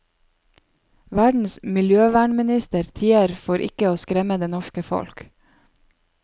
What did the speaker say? Verdens miljøvernminister tier for ikke å skremme det norske folk.